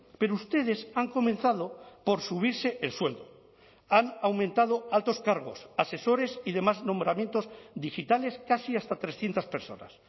pero ustedes han comenzado por subirse el suelo han aumentado altos cargos asesores y demás nombramientos digitales casi hasta trescientos personas